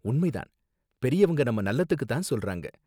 உண்மை தான்! பெரியவங்க நம்ம நல்லதுக்கு தான் சொல்றாங்க